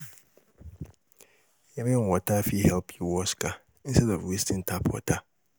Rain water fit help wash car instead of wasting tap water.